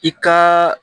I ka